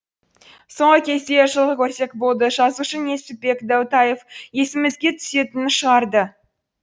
соңғы кезде жылқы көрсек болды жазушы несіпбек дәутаев есімізге түсетінді шығарды